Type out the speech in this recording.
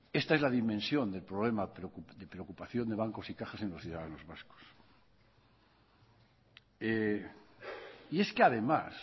esta es la dimensión del problema de preocupación de bancos y cajas en los ciudadanos vascos y es que además